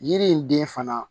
Yiri in den fana